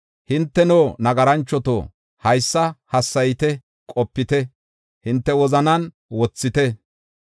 Hinteno nagaranchoto, haysa hassayite; qopite; hinte wozanan wothite.